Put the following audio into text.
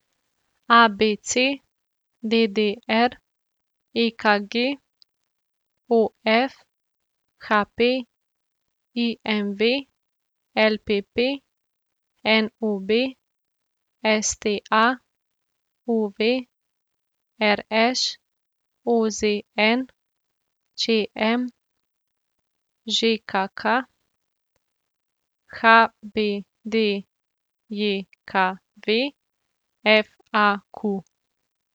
A B C; D D R; E K G; O F; H P; I M V; L P P; N O B; S T A; U V; R Š; O Z N; Č M; Ž K K; H B D J K V; F A Q.